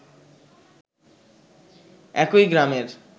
একই গ্রামের